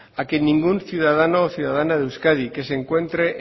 a que ningún ciudadano o ciudadana de euskadi que se encuentre